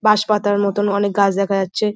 বাঁশপাতার মতো অনেক গাছ দেখা যাচ্ছে।